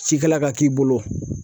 Cikɛla ka k'i bolo